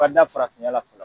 ka da farafinya la fɔlɔ.